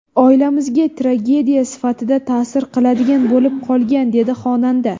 Oilamizga tragediya sifatida ta’sir qiladigan bo‘lib qolgan”, dedi xonanda.